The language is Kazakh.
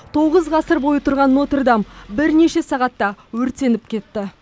тоғыз ғасыр бойы тұрған нотр дам бірнеше сағатта өртеніп кетті